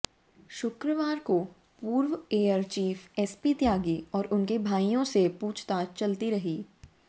शुक्रवार को पूर्व एयर चीफ एसपी त्यागी और उनके भाइयों से पूछताछ चलती रही